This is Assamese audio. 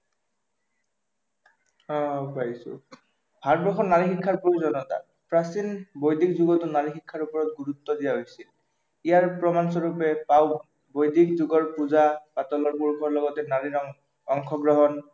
অ পাইছো, ভাৰতবৰ্ষত নাৰী শিক্ষাৰ প্ৰয়োজনীয়া, প্ৰাচীন বৈদিক যুগতো নাৰী শিক্ষাৰ ওপৰত গুৰুত্ব দিয়া হৈছিল, ইয়াৰ প্ৰমাণস্বৰূপে পাওঁ বৈদিক যুগৰ পূজা পাতলবোৰ পুৰুষৰ লগতে নাৰীৰ অংশগ্ৰহণ